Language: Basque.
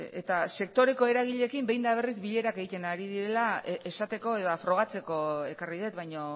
eta sektoreko eragileekin behin eta berriz bilerak egiten ari direla esateko eta frogatzeko ekarri dut baino